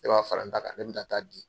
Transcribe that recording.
E b'a fara n ta kan ne bɛna taa di.